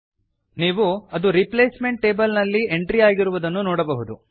ನೀವು ಅದು replacement table ನಲ್ಲಿ ಎಂಟ್ರಿಯಾಗಿರುವುದನ್ನು ನೋಡಬಹುದು